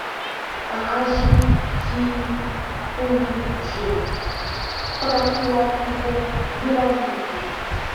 покажи фильм уиджи проклятие вероники